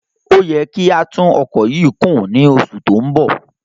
Ó yẹ kí á tún ọkọ̀ yìí kùn ní oṣù tí ó ń bọ̀.